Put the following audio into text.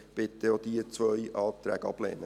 Ich bitte Sie, auch diese zwei Anträge abzulehnen.